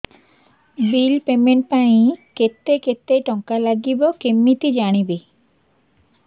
bill payment ପାଇଁ କେତେ କେତେ ଟଙ୍କା ଲାଗିବ କେମିତି ଜାଣିବି